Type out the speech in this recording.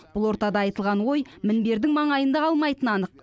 бұл ортада айтылған ой мінбердің маңайында қалмайтыны анық